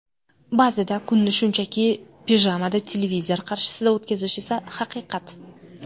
Ba’zida kunni shunchaki pijamada televizor qarshisida o‘tkazish esa haqiqat.